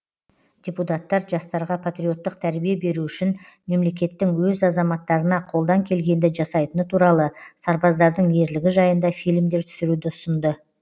депутаттар жастарға патриоттық тәрбие беру үшін мемлекеттің өз азаматтарына қолдан келгенді жасайтыны туралы сарбаздардың ерлігі жайында фильмдер түсіруді ұсынды